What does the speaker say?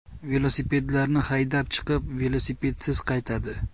Velosipedlarini haydab chiqib, velosipedsiz qaytadi.